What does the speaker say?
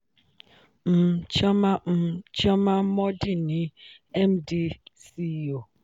um chioma um chioma mordi ni md/ceo